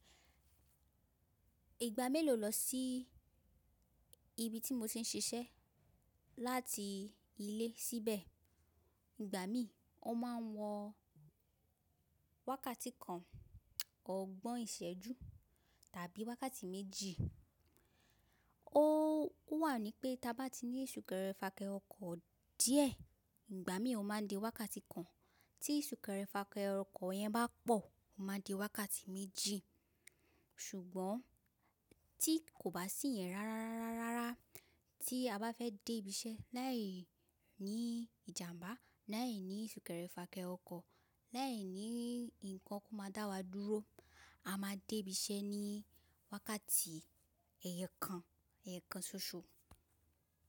Ìgbà mélòó lọ sí ibi tí mo ti ń ṣiṣẹ́ láti ilé síbẹ̀? Ìgbà mí ò ma wọ wákàtí kan, ògbọ́n ìsẹ́jú tàbí wákàtí méjì. Ó wà ní pé tí a bá ti ní ìsúkẹrẹ fàkẹrẹ ọkọ̀ díẹ̀ ìgbà mí ò ma dé wákàtí kan. Tí ìsúkẹrẹ fàkẹrẹ ọkọ̀ yẹn bá pọ̀, ó máa di wákàtí méjì. Ṣùgbọ́n tí kò bá sí yẹn rárárara tí a bá fẹ́ dé ibi iṣẹ́ láì ní ìjàmbá, láì ní ìsúkẹrẹ fàkẹrẹ ọkọ̀, láì ní nǹkan tó máa dá wa dúró, a ma dé ibi iṣẹ́ ní wákàtí ẹyọkan, ẹyọkan ṣoṣo.